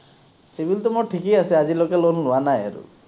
CIBIL মোৰ ঠিকেই আছে, আজিলৈকে loan লোৱা নাই আৰু।